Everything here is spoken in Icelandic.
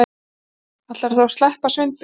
Ætlarðu þá að sleppa Sveinbirni?